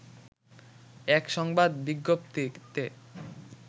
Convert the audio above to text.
এক সংবাদ বিজ্ঞপ্তিতে